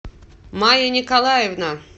мая николаевна